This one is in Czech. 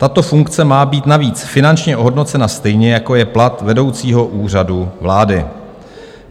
Tato funkce má být navíc finančně ohodnocena stejně, jako je plat vedoucího Úřadu vlády.